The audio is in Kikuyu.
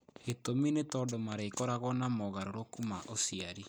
Gĩtũmi nĩ tondũ marĩkoragwo na mogarũrũku ma ũciari.